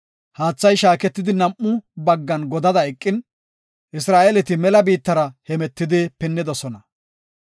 Haathay shaaketidi nam7u baggan godada eqin, Isra7eeleti mela biittara hemetidi pinnidosona.